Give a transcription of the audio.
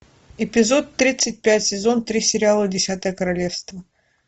эпизод тридцать пять сезон три сериала десятое королевство